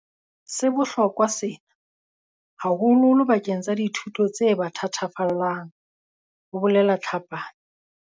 "Se bohlokwa sena, haholoholo bakeng sa dithuto tse ba thatafallang," ho bolela Tlhapane.